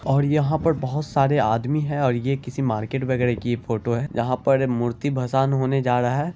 और यहां पर बहुत सारे आदमी है और ये किसी मार्केट वगैरा की ये फोटो है जहां पर मूर्ति भसान होने जा रहा है।